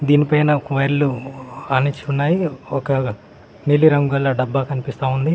దీనిపైన ఒక వైర్లు ఆనిచ్చి ఉన్నాయి. ఒక నీలి రంగు గల డబ్బ కనిపిస్తా ఉంది.